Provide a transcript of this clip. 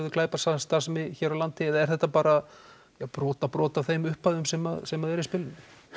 glæpastarfsemi á Íslandi eða er þetta bara brotabrot af þeim upphæðum sem sem eru í spilinu